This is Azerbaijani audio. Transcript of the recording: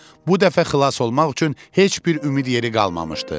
Bu dəfə xilas olmaq üçün heç bir ümid yeri qalmamışdı.